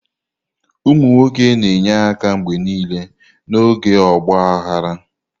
Ụmụ nwoke na-enye aka mgbe niile n'oge ọgba aghara.